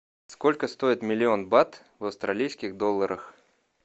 сколько стоит миллион бат в австралийских долларах